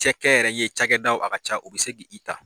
Cɛkɛyɛrɛye cakɛdaw a ka ca u bɛ se k'i ta.